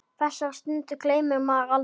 Þessari stundu gleymir maður aldrei.